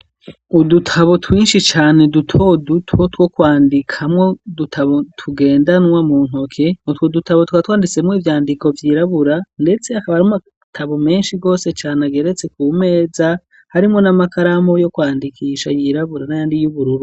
Udutabo twinshi cane duto duto two kwandikamwo, udutabo tugendanwa mu ntoke, utwo dutabo tukaba twanditsemo ivyandiko vyirabura, ndetse akaba ari amatabo menshi gose cane ageretse ku meza, harimwo n'amakaramu yo kwandikisha yirabura n'ayandi y'ubururu.